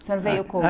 O senhor veio como?